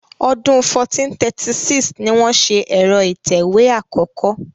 Ọdún 1436 ni wọ́n ṣe ẹ̀rọ ìtẹ̀wé àkọ́kọ́.